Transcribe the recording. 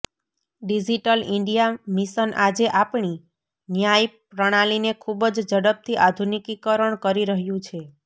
digital India mission આજે આપણી ન્યાય પ્રણાલીને ખૂબ જ ઝડપથી આધુનિકીકરણ કરી રહ્યું છે